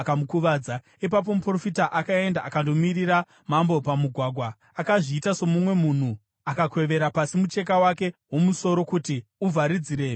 Ipapo muprofita akaenda akandomirira mambo pamugwagwa. Akazviita somumwe munhu akakwevera pasi mucheka wake womusoro kuti uvharidzire maziso ake.